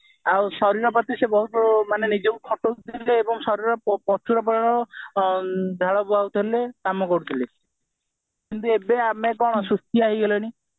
ଆଉ ଶରୀର ପ୍ରତି ସେ ବହୁତ ସେମାନେ ନିଜକୁ ଖୋଟଉଥିଲେ ଏବଂ ଶରୀର ପଛରେ ପ୍ରବଳ ଝାଡ ବୁହାଉଥିଲେ କାମ କରୁଥିଲେ କିନ୍ତୁ ଆମେ ଏବେ କଣ ସୁସ୍ଥିଆ ହେଇଗଲେଣି